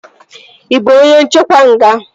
Ị bụ onye nchekwa nga?